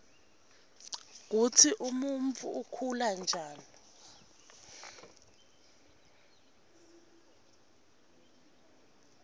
kutsi umuntfu ukhula njani